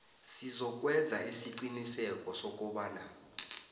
sizokwenza isiqiniseko sokobana